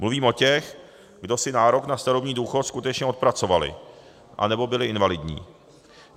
Mluvím o těch, kdo si nárok na starobní důchod skutečně odpracovali anebo byli invalidní.